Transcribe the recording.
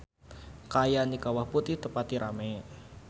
Kaayaan di Kawah Putih teu pati rame